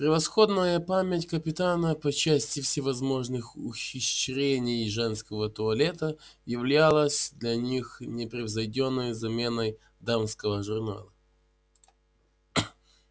превосходная память капитана по части всевозможных ухищрений женского туалета являлась для них непревзойдённой заменой дамского журнала